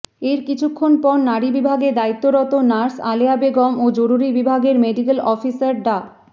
এর কিছুক্ষণ পর নারী বিভাগে দায়িত্বরত নার্স আলেয়া বেগম ও জরুরি বিভাগের মেডিক্যাল অফিসার ডা